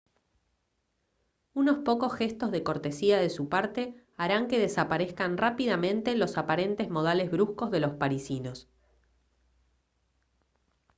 unos pocos gestos de cortesía de su parte harán que desaparezcan rápidamente los aparentes modales bruscos de los parisinos